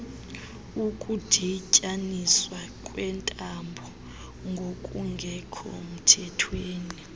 ukudityaniswa kweentambo ngokungekhomthethweni